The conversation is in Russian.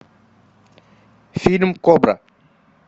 фильм кобра